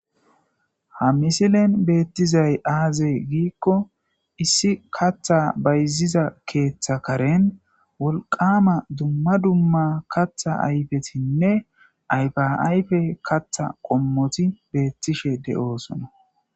Ha misilen beetizay aaze giikko issi kaththa bayziza keetha karen wolqqama dummadumma kaththa ayfetinne ayfa ayfe kaththa qommoti beetishe de7osona.